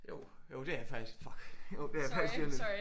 Jo jo det er faktisk. Fuck. Jo det er faktisk lige om lidt